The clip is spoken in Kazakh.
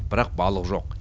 бірақ балық жоқ